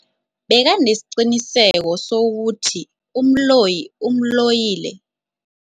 Bekanesiqiniseko sokuthi umloyi umloyile.